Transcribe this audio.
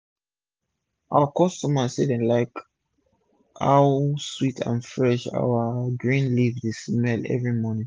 our customer dem say dem like how sweet and fresh our fresh green leaf dey smell everi morning